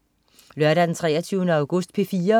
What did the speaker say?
Lørdag den 23. august - P4: